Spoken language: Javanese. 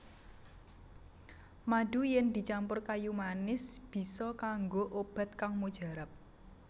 Madu yèn dicampur kayu manis bisa kanggo obat kang mujarab